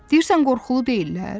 Deyirsən qorxulu deyillər?